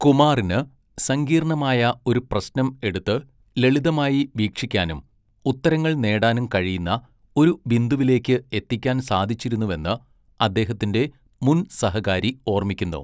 കുമാറിന് സങ്കീർണ്ണമായ ഒരു പ്രശ്നം എടുത്ത് ലളിതമായി വീക്ഷിക്കാനും ഉത്തരങ്ങൾ നേടാനും കഴിയുന്ന ഒരു ബിന്ദുവിലേക്ക് എത്തിക്കാൻ സാധിച്ചിരുന്നുവെന്ന് അദ്ദേഹത്തിന്റെ മുൻ സഹകാരി ഓർമ്മിക്കുന്നു.